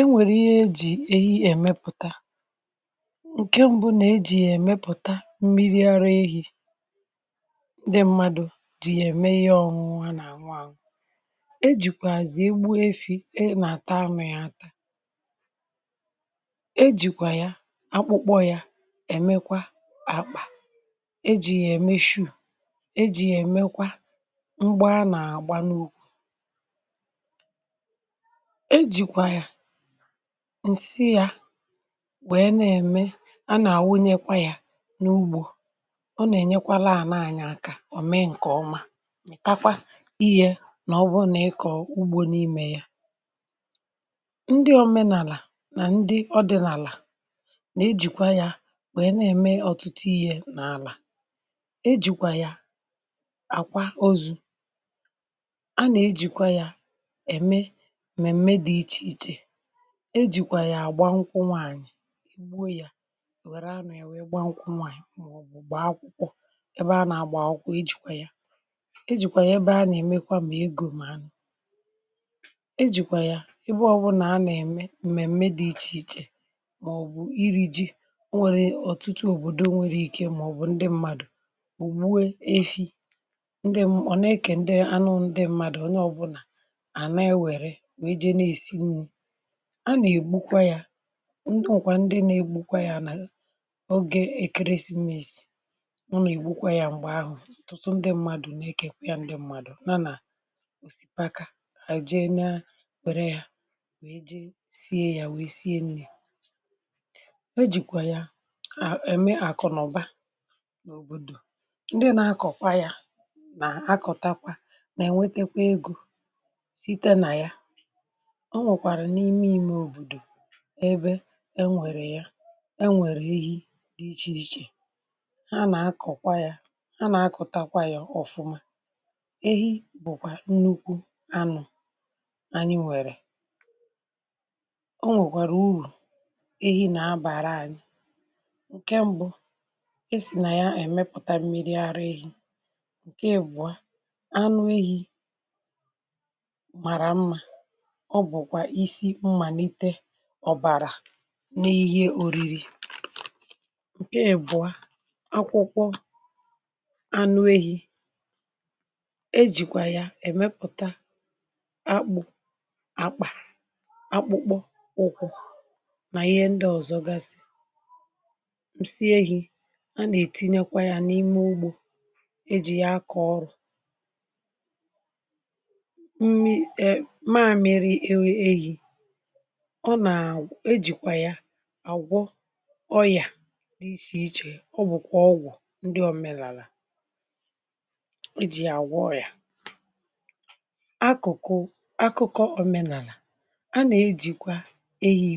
e nwèrè ihe ejì ehi èmepụ̀ta ǹke mbụ nà ejì yà èmepụ̀ta mmiri ara ehi̇ dị mmadụ̀ jì yà ème ihe ọṅụṅụ ha nà àṅụ àṅụ um e jìkwàà zì egbu efi̇ enà àta amị̇ yȧ ata e jìkwà ya akpụkpọ yȧ èmekwa àkpà ejì yà èmeshu̇ ejì yà èmekwa mgbà a nà àgba n’òkù e jìkwà ya ǹsị yȧ wèe nà-ème a nà-àwụnyekwa yȧ n’ugbȯ ọ nà-ènyekwaala ànà anyị̇ akȧ ọ̀ mee ǹkè ọma um mị̀kakwa ihė nà ọ bụ nà ị kọ̀ọ ugbȯ n’imė ya ndị ọmenàlà nà ndị ọdị̇nàlà nà ejìkwa yȧ wèe na-ème ọ̀tụtụ ihė n’àlà ejìkwà ya àkwa ozu̇ mmemme dị iche iche e jikwa ya agbanwụkwọ nwaanyị̀ emuo ya nwere anọ̀ e wee gbanwụkwọ nwaanyị̀ màọbụ̀ gbaa akwụkwọ ebe a na-agba akwụkwọ ejikwa ya e jikwa ya ebe ha na-emekwa ma ego m anọ̀ e jikwa ya ebe ọbụna anọ̀ eme mmemme dị iche ichè màọbụ̀ iri ji o nwere ọtụtụ òbodò nwere ike màọbụ̀ ndị mmadụ̀ ògbu e ehi̇ ndị m, ọ nà-eke ndị anụ ndị mmadụ̀ onye ọbụna a nà-ègbukwa yȧ ndị ọ̀kwà ndị nà-ègbukwa yȧ nà ogè èkeresi mma èsi um ọ nà-ègbukwa yȧ m̀gbè ahụ̀ ǹtụtụ ndị m̀madụ̀ nà-ekė kwa ya ndị m̀madụ̀ na nà òsìpaka àjị na-apere yȧ wee jee sie yȧ wèe sie nni̇ o jìkwa ya à ème àkụ̀naụba n’òbòdò ndị na-akọ̀kwa yȧ nà akọ̀takwa nà ènwetekwa egȯ o nwèkwàrà n’ime ime òbòdò ebe enwèrè ya enwèrè ehi dị ichè ichè ha nà akọ̀kwa ya ha nà akụ̀takwa ya ọ̀fụma ehi bụ̀kwà nnukwu anụ̇ anyị nwèrè o nwèkwàrà urù ehi nà abàra anyị ǹkè mbụ̇ e sì nà ya èmepụ̀ta miri ara ehi̇ ǹkè ègbùa anụ ehi̇ ọ bụ̀kwà isi mmàlite ọ̀bàrà n’ihe ȯriri ǹke ẹ̀bụ̀a akwụkwọ anụ ehi̇ ejìkwà yà èmepùta akpụ̇ akpà akpụ̇kpọ akwụkwọ nà ihe ndị ọ̀zọ gasị̀ ǹsị ehi̇ a nà-ètinekwa yȧ n’ime ugbȯ ejì ya akọ̀ ọrụ̀ um ọ nà-ejìkwà ya àgwọ ọyà dị ichè ichè ọ bụ̀kwà ọgwụ̀ ndị omenàlà iji̇ àgwọ ọyà akụ̀kụ̀ akụ̀kọ òmenàlà a nà-ejìkwa ehi